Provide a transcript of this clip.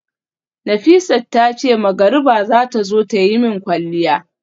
Nafisat tace magariba zata zo tayi min kwalliya